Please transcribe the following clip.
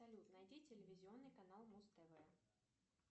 салют найди телевизионный канал муз тв